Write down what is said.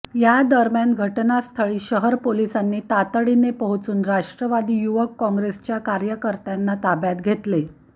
या दरम्यान घटनास्थळी शहर पोलिसांनी तातडीने पोहचून राष्ट्रवादी युवक कॉंग्रेसच्या कार्यकर्त्यांना ताब्यात घेतले